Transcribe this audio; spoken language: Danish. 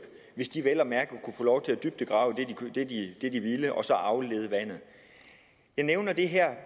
hvis de vel at mærke kunne få lov til at dybdegrave det de ville og så aflede vandet jeg nævner det her